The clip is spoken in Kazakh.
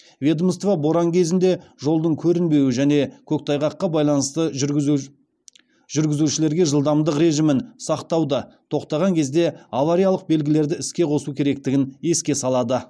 ведомство боран кезінде жолдың көрінбеуі және көктайғаққа байланысты жүргізушілерге жылдамдық режимін сақтауды тоқтаған кезде авариялық белгілерді іске қосу керектігін еске салады